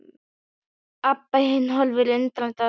Abba hin horfði undrandi á þær.